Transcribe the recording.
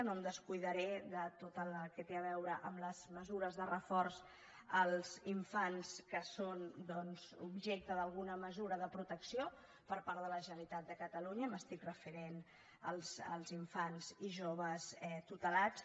no em descuidaré de tot el que té a veure amb les mesures de reforç als infants que són doncs objecte d’alguna mesura de protecció per part de la generalitat de catalunya m’estic referint als infants i joves tutelats